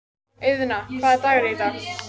Auðna, hvaða dagur er í dag?